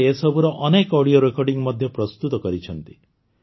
ସେ ଏସବୁର ଅନେକ ଅଡିଓ ରେକର୍ଡ଼ିଂ ମଧ୍ୟ ପ୍ରସ୍ତୁତ କରିଛନ୍ତି